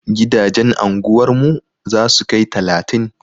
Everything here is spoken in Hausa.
Gidajen anguwar mu za su kai talatin.